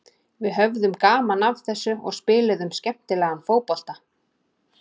Við höfðum gaman af þessu og spiluðum skemmtilegan fótbolta.